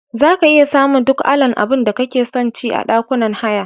Zaka iya samun duk alan abunda kake sonci a ɗakunan haya.